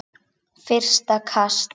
Fyrsta kast